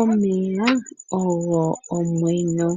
Omeya ogo omwenyo.